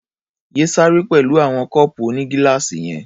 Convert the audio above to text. Yé ṣeré pẹ̀lú àwọn kọ́ọ̀pù onígíláàsì yẹn.